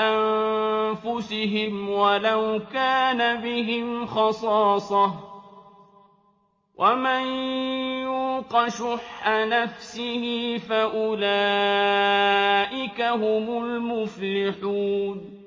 أَنفُسِهِمْ وَلَوْ كَانَ بِهِمْ خَصَاصَةٌ ۚ وَمَن يُوقَ شُحَّ نَفْسِهِ فَأُولَٰئِكَ هُمُ الْمُفْلِحُونَ